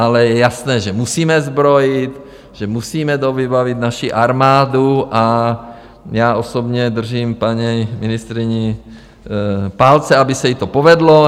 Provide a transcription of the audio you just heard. Ale je jasné, že musíme zbrojit, že musíme dovybavit naši armádu, a já osobně držím paní ministryni palce, aby se jí to povedlo.